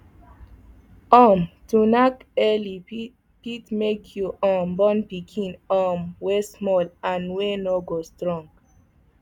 um to knack early fit fit make you um born pikin um wey small and wey no go strong